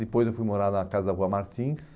Depois eu fui morar na casa da rua Martins.